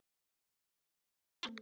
Fundur er settur!